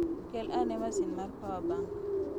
Kel ane masin mar power bank.